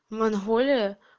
монголия